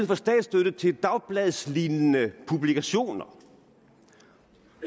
for statsstøtte til dagbladslignende publikationer